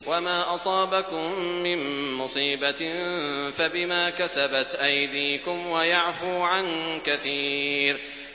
وَمَا أَصَابَكُم مِّن مُّصِيبَةٍ فَبِمَا كَسَبَتْ أَيْدِيكُمْ وَيَعْفُو عَن كَثِيرٍ